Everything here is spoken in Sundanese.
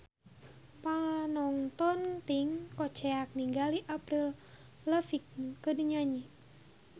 Panongton ting koceak ninggali Avril Lavigne keur nyanyi